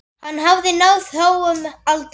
Hann hafði náð háum aldri.